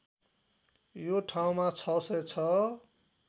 यो ठाउँमा ६०६